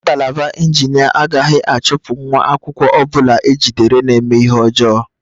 Ngalaba injinia agaghị achụpụ nwa akwụkwọ ọ bụla ejidere na-eme ihe ọjọọ